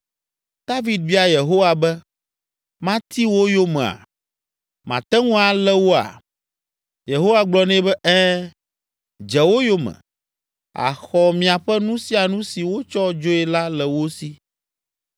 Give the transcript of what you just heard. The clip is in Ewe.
David bia Yehowa be, “Mati wo yomea? Mate ŋu alé woa?” Yehowa gblɔ nɛ be, “Ɛ̃, dze wo yome; àxɔ miaƒe nu sia nu si wotsɔ dzoe la le wo si!”